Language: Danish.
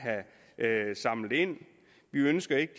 vil have affaldet samlet ind vi ønsker ikke